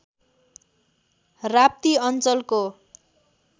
राप्ती अञ्चलको